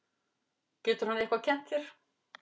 Getur hann eitthvað kennt þér?